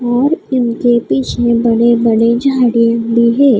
और इनके पीछे बड़े बड़े झाड़े है--